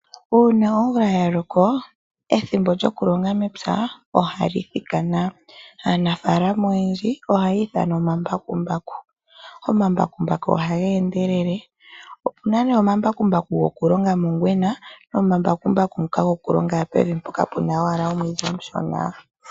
Uuna omvula yaloko, ethimbo lyokulonga mepya ohali thikana . Aanafaalama oyendji ohaya ithana omambakumbaku. Omambakumbaku ohaga endelele. Opena nee omambakumbaku go kulonga mongwena , nomambakumbaku ngoka gokulonga ashike pevi mpoka puna omwiidhi omushona.